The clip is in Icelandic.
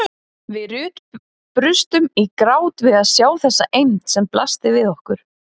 Við Ruth brustum í grát við að sjá þessa eymd sem blasti við okkur.